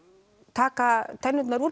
taka tennurnar úr